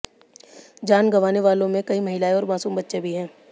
जान गंवाने वालों में कई महिलाएं और मासूम बच्चे भी हैं